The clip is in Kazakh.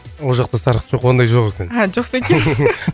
ол жақта сарқыт жоқ ондай жоқ екен а жоқ па екен